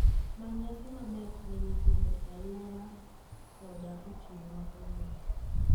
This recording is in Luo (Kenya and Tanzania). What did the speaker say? Many nyasi maber ne nyithindo e alwora ada otieno ma kawuono